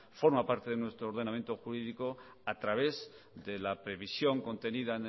forma parte de nuestro ordenamiento jurídico a través de la previsión contenida